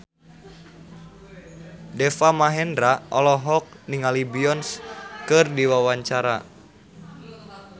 Deva Mahendra olohok ningali Beyonce keur diwawancara